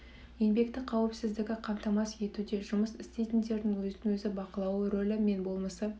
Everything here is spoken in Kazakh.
еңбекті қауіпсіздігі қамтамасыз етуде жұмыс істейтіндердің өзін өзі бақылауы рөлі мен болмысы